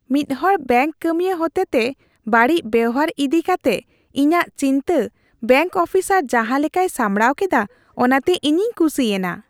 ᱢᱤᱫᱦᱚᱲ ᱵᱮᱝᱠ ᱠᱟᱹᱢᱤᱭᱟᱹ ᱦᱚᱛᱮᱛᱮ ᱵᱟᱹᱲᱤᱡ ᱵᱮᱣᱦᱟᱨ ᱤᱫᱤ ᱠᱟᱛᱮᱜ ᱤᱧᱟᱹᱜ ᱪᱤᱱᱛᱟᱹ ᱵᱮᱝᱠ ᱚᱯᱷᱤᱥᱟᱨ ᱡᱟᱦᱟᱸ ᱞᱮᱠᱟᱭ ᱥᱟᱢᱲᱟᱣ ᱠᱮᱫᱟ ᱚᱱᱟᱛᱮ ᱤᱧᱤᱧ ᱠᱩᱥᱤᱭᱮᱱᱟ ᱾